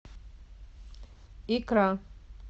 икра